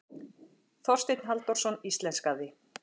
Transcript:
Þorsteinn Halldórsson íslenskaði.